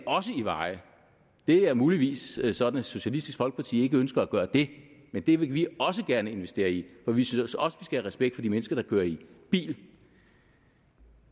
i veje det er muligvis sådan at socialistisk folkeparti ikke ønsker at gøre det men det vil vi også gerne investere i for vi synes også respekt for de mennesker der kører i bil